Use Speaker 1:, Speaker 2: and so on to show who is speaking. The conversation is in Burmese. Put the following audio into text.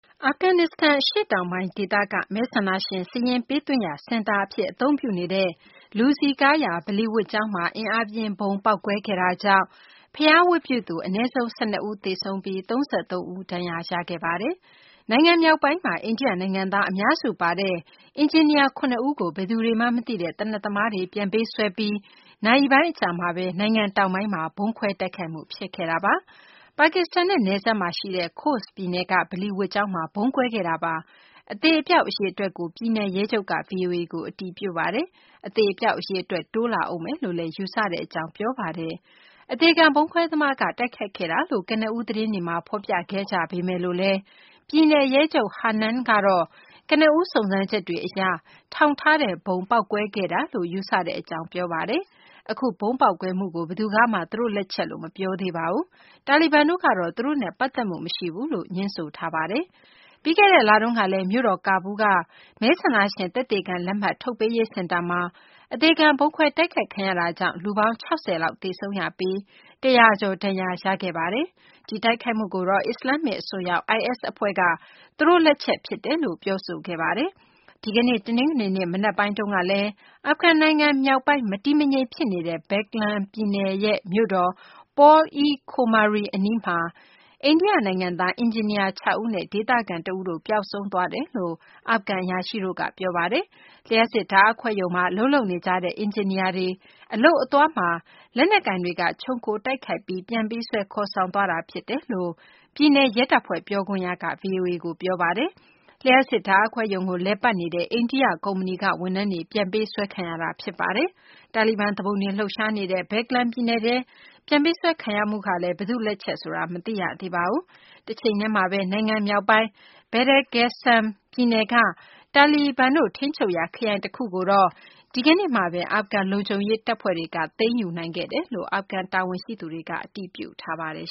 Speaker 1: အာဖဂန်နစ္စတန် အရှေ့တောင်ပိုင်း ဒေသက မဲဆန္ဒရှင် စာရင်းပေးသွင်းရာ စင်တာ အဖြစ် အသုံးပြုနေတဲ့ လူစည်ကားရာ ဗလီဝတ်ကျောင်းမှာ အင်းအားပြင်းဗုံး ပေါက်ကွဲခဲ့တာကြောင့် ဘုရားဝတ်ပြုသူ အနည်းဆုံး ၁၂ ဦး သေဆုံးပြီး ၃၃ ဦး ဒဏ်ရာရခဲ့ပါတယ်။ နိုင်ငံ မြောက်ပိုင်းမှာ အိန္ဒိယ နိုင်ငံသား အများစု ပါတဲ့ အင်ဂျင်နီယာ ၇ ဦးကို ဘယ်သူတွေမှန်း မသိရတဲ့ သေနတ်သမားတွေ ပြန်ပေးဆွဲပြီး နာရီပိုင်း အကြာမှာဘဲ နိုင်ငံတောင်ပိုင်းမှာ ဗုံးခွဲ တိုက်ခိုက်မှု ဖြစ်ခဲ့တာပါ။ ပါကစ္စတန်နဲ့ နယ်စပ်မှာ ရှိတဲ့ Khost ပြည်နယ်က ဗလီဝတ်ကျောင်းမှာ ဗုံးကွဲခဲ့တာပါ။ အသေအပျောက် အရေအတွက်ကို ပြည်နယ်ရဲချုပ်က ဗွီအိုအေကို အတည်ပြုပါတယ်။ အသေအပျောက် အရေအတွက် တိုးလာဦးမယ်လို့ ယူဆကြောင်းလည်း ပြောပါတယ်။ အသေခံ ဗုံးခွဲသမားက တိုက်ခိုက်ခဲ့တာလို့ ကနဦးသတင်းတွေမှာ ဖော်ပြခဲ့ကြပေမယ်လို့လည်း ပြည်နယ် ရဲချုပ် Hanan ကတော့ ကနဦး စုံးစမ်းချက်တွေ အရတော့ ထောင်ထားတဲ့ဗုံး ပေါက်ကွဲခဲ့တယ်လို့ ယူဆတဲ့ အကြောင်း ပြောဆိုပါတယ်။ အခု ဗုံးပေါက်ကွဲမှုကို ဘယ်သူကမှ သူတို့ လက်ချက်လို့ မပြောသေးပါဘူး။ တာလီဘန်တို့ကတော့ သူတို့နဲ့ ပတ်သက်မှု မရှိဘူးလို့ ငြင်းဆိုထားပါတယ်။ ပြီးခဲ့တဲ့ လတုန်းကလည်း မြို့တော် ကာဘူးလ်က မဲဆန္ဒရှင် သက်သေခံ လက်မှတ် ထုတ်ပေးရေး စင်တာမှာ အသေခံ ဗုံးခွဲတိုက်ခိုက်ခံရတာကြောင့် လူပေါင်း ၆၀ လောက် သေဆုံးပြီး ၁၀၀ ကျော် ဒဏ်ရာ ရခဲ့တာပါ။ ဒီတိုက်ခိုက်မှုကိုတော့ အစ္စလာမ္မစ် အစွန်းရောက် IS အဖွဲ့က သူတို့လက်ချက်ဖြစ်ကြောင် ပြောဆိုခဲ့တာပါ။ ဒီကနေ့ တနင်္ဂနွေနေ့ မနက်ပိုင်းတုန်းကလည်း အာဖဂန်နိုင်ငံ မြောက်ပိုင်း မတည်မငြိမ် ဖြစ်နေတဲ့ Baghlan ပြည်နယ်ရဲ့ မြို့တော် Pul-e-khomri အနီးမှာ အိန္ဒိယ နိုင်ငံသား အင်ဂျင်နီယာ ၆ ဦးနဲ့ ဒေသခံ တဦးတို့ ပျောက်ဆုံးသွားတယ်လို့ အာဖဂန် အရာရှိတို့က ပြောပါတယ်။ လျှပ်စစ် ဓာတ်အားခွဲရုံမှာ အလုပ်လုပ်နေကြတဲ့ အင်ဂျင်နီယာတွေ အလုပ်အသွားမှာ လက်နက်ကိုင်တွေက ခြုံခို တိုက်ခိုက်ခဲ့ပြီး ပြန်ပေးဆွဲ ခေါ်ဆောင်သွားတာ ဖြစ်တယ်လို့ ပြည်နယ် ရဲတပ်ဖွဲ့ ပြောခွင့်ရက ဗွီအိုအေကို ပြောပါတယ်။ လျှပ်စစ်ဓာတ်အားခွဲရုံကို လည်ပတ်နေတဲ့ အိန္ဒိယ ကုမ္ပဏီက ဝန်ထမ်းတွေ ပြန်ပေးဆွဲခံရတာ ဖြစ်ပါတယ်။ တာလီဘန် သူပုန်တွေ လှုပ်ရှားနေတဲ့ Baglan ပြည်နယ်ထဲက ပြန်ပေးဆွဲ ခံရမှုဟာ ဘယ်သူ့လက်ချက်ဆိုတာတော့ မသိရသေးပါဘူး။ တချိန်တည်းမှာဘဲ နိုင်ငံ မြောက်ပိုင်း Badakhsahn ပြည်နယ်က တာလီဘန်တို့ ထိန်းချုပ်ရာ ခရိုင် တခုကို ဒီကနေ့ တနင်္ဂနွေနေ့မှာ အာဖဂန် လုံခြုံရေး တပ်ဖွဲ့တွေက လေကြောင်းပစ်ကူနဲ့ ပြန်လည် သိမ်းယူနိုင်ခဲ့ကြောင်း အာဖဂန် တာဝန်ရှိသူတွေက အတည်ပြုထားပါတယ်